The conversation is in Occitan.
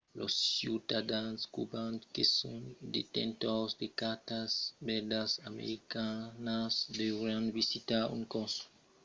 los ciutadans cubans que son detentors de cartas verdas americanas deurián visitar un consulat eqüatorian per obtenir una exempcion d'aquesta condicion